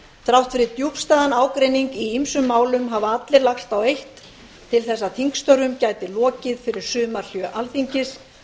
þrátt fyrir djúpstæðan ágreining í ýmsum málum hafa allir lagst á eitt til þess að þingstörfum gæti lokið fyrir sumarhlé alþingis með